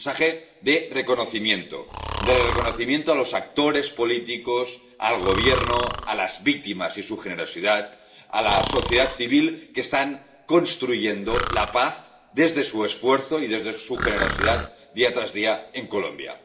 Un mensaje de reconocimiento, de reconocimiento a los actores políticos, al Gobierno, a las víctimas y su generosidad, a la sociedad civil, que están construyendo la paz desde su esfuerzo y desde su generosidad, día tras día, en Colombia.